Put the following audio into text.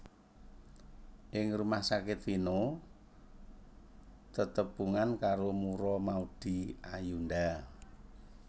Ing rumah sakit Vino tetepungan karo Mura Maudy Ayunda